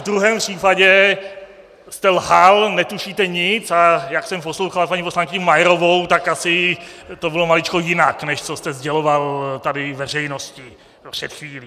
V druhém případě jste lhal, netušíte nic, a jak jsem poslouchal paní poslankyni Majerovou, tak asi to bylo maličko jinak, než co jste sděloval tady veřejnosti před chvílí.